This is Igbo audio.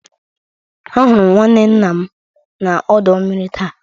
Ahụrụ m nwanne nna m na ọdọ mmiri taa.